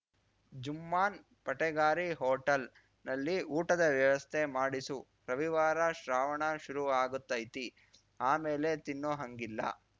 ಜುಮ್ಮಾನ್‌ ಪಟೆಗಾರಿ ಹೋಟಲ್ನಲ್ಲಿ ಊಟದ ವ್ಯವಸ್ಥೆ ಮಾಡಿಸು ರವಿವಾರ ಶ್ರಾವಣ ಶುರುವಾ ಗುತ್ತೈತಿ ಆಮೇಲೆ ತಿನ್ನೋ ಹಂಗಿಲ್ಲ